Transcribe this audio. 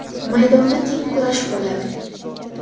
Maydonda teng kurash bo‘ladi.